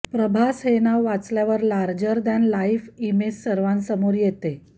प्रभास हे नाव वाचल्यावर लार्जर दॅन लाइफ इमेज सर्वांसमोर येते